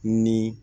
Ni